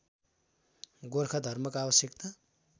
गोर्खा धर्मको आवश्यकता